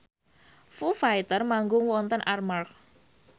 Foo Fighter manggung wonten Armargh